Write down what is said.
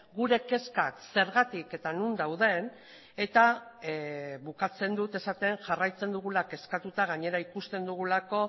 gure kezkak zergatik eta non dauden eta bukatzen dut esaten jarraitzen dugula kezkatuta gainera ikusten dugulako